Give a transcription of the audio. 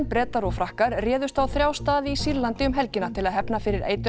Bretar og Frakkar réðust á þrjá staði í Sýrlandi um helgina til að hefna fyrir